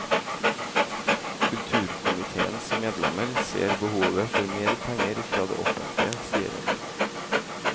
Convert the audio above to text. Kulturkomitéens medlemmer ser behovet for mer penger fra det offentlige, sier hun.